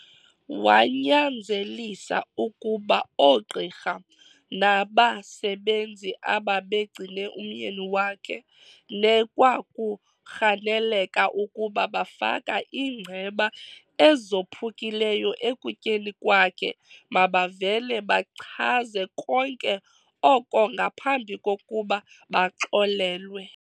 Wanyanzelisa ukuba oogqirha nabasebenzi ababegcine umyeni wakhe nekwakurhaneleka uku bafaka iingceba ezophukileyo ekutyeni kwakhe mabavele bachaze konke oko ngaphambi kokuba baxolelwe.